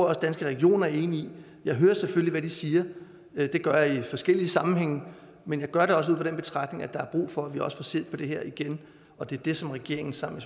også danske regioner er enige i jeg hører selvfølgelig hvad de siger det gør jeg i forskellige sammenhænge men jeg gør det også ud fra den betragtning at der er brug for at vi også får set på det her igen og det er det som regeringen sammen